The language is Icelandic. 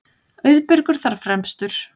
Auðbergur þar fremstur.